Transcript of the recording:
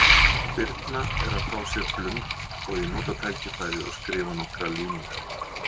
Birna er að fá sér blund og ég nota tækifærið og skrifa nokkrar línur.